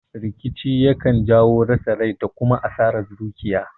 Rikici yakan jawo rasa rai da kuma asaran dukiya